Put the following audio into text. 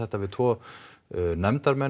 við tvo nefndarmenn og